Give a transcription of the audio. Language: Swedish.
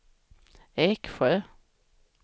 Eksjö